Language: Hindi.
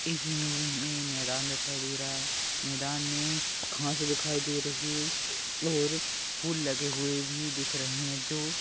इस इमेज में हमें ये मैदान दिखाई दे रहा है मैदान में घाँस दिखाई दे रही है और फूल लगे हुए भी दिख रहे हैं जो --